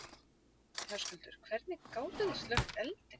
Höskuldur: Hvernig gátið þið slökkt eldinn?